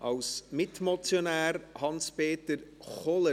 Als Mitmotionär: Hans-Peter Kohler.